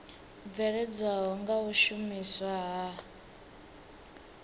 bveledzwaho nga u shumiswa ha